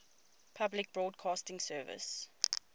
public broadcasting service